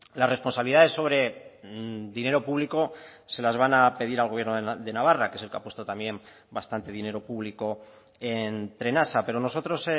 las responsabilidades sobre dinero público se las van a pedir al gobierno de navarra que es el que ha puesto también bastante dinero público en trenasa pero nosotros